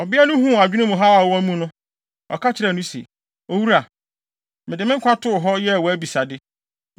Ɔbea no huu adwene mu haw a ɔwɔ mu no, ɔka kyerɛɛ no se, “Owura, mede me nkwa too hɔ, yɛɛ wʼabisade.